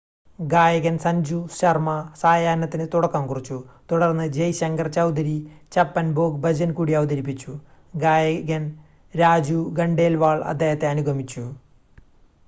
ഗായകൻ സഞ്ജു ശർമ്മ സായാഹ്‌നത്തിന് തുടക്കം കുറിച്ചു തുടർന്ന് ജയ് ശങ്കർ ചൗധരി ചപ്പൻ ഭോഗ് ഭജൻ കൂടി അവതരിപ്പിച്ചു ഗായകൻ രാജു ഖണ്ഡേൽവാൾ അദ്ദേഹത്തെ അനുഗമിച്ചു